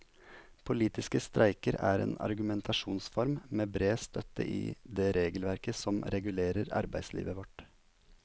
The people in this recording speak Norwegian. Politiske streiker er en argumentasjonsform med bred støtte i det regelverket som regulerer arbeidslivet vårt.